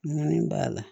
Ŋɔni b'a la